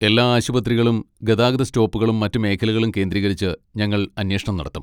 എല്ലാ ആശുപത്രികളും ഗതാഗത സ്റ്റോപ്പുകളും മറ്റ് മേഖലകളും കേന്ദ്രീകരിച്ച് ഞങ്ങൾ അന്വേഷണം നടത്തും.